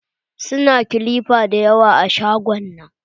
Su na kilipa dayawa a shagon nan.